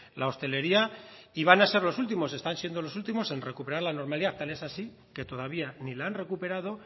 la hostelería y van a ser los últimos están siendo los últimos en recuperar la normalidad tal es así que todavía ni la han recuperado